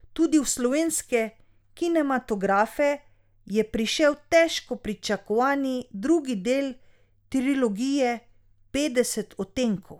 Tudi v slovenske kinematografe je prišel težko pričakovani drugi del trilogije Petdeset odtenkov.